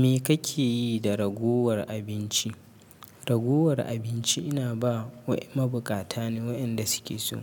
Me kake yi da ragowar abinci? Ragowar abinci ina ba wa mabuƙata ne wayanda suke so.